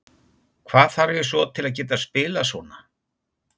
Hvað þarf ég svo til að geta spilað svona?